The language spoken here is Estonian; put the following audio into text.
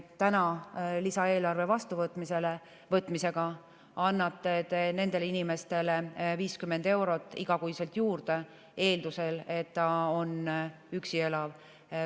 Täna lisaeelarve vastuvõtmisega annate te nendele inimestele 50 eurot igakuiselt juurde, eeldusel et ta elab üksi.